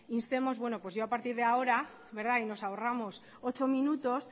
instemos bueno yo a partir de ahora verdad y nos ahorramos ocho minutos